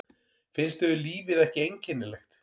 Finnst yður lífið ekki einkennilegt?